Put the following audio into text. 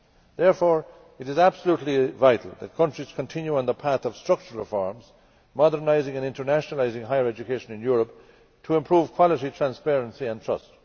Therefore, it is absolutely vital that countries continue on the path of structural reforms, modernising and internationalising higher education in Europe to improve quality, transparency and trust.